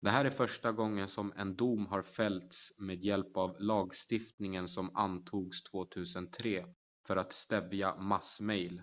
det här är första gången som en dom har fällts med hjälp av lagstiftningen som antogs 2003 för att stävja mass-mejl